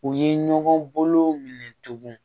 U ye ɲɔgɔn bolo minɛ tugun